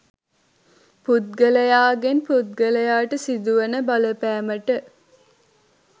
පුද්ගලයාගෙන් පුද්ගලයාට සිදුවන බලපෑමට